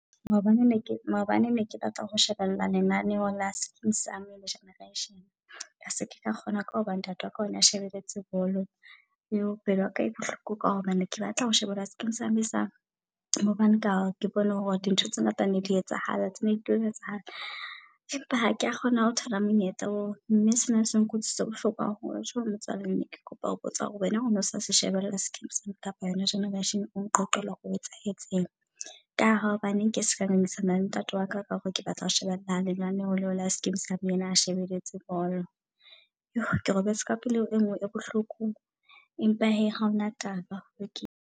Maobane ne ke maobane ne ke batla ho shebella lenaneho la Skeem Saam le Generation. Ka se ka kgona ka hoba ntate waka one a shebeletse bolo. Pelo ya ka enele bohloko ka hobane neke batla ho shebella Skeem Saam hobane ka ke bone hore di ntho tse ngata ne di etsahala. Tsena di tlo etsahala, empa ha kea kgona ho thola monyetla oo. Mme sena se nkutleisitse bohloko haholo. Ka ho motswalle ne ke kopa ho botsa hore wena o no sa se shebella Skeem Saam kapa yona Generation. O nqoqele hore ho etsahetseng. Ka hobane ke seka ngangisana le ntate waka ka hore ke batla ho sheba lenaneho leo la skeemsaam. Ena a shebeletse bolo. Ke robetse ka pelo e ngwe e bohloko, empa hee haona taba lokile.